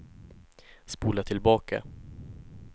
spola tillbaka